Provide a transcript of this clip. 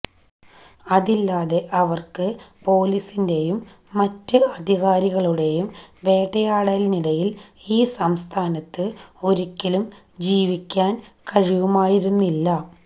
അതില്ലാതെ അവര്ക്ക് പോലീസിന്റെയും മറ്റ് അധികാരികളുടെയും വേട്ടയാടലിനിടയില് ഈ സംസ്ഥാനത്ത് ഒരിക്കലും ജീവിക്കാന് കഴിയുമായിരുന്നില്ല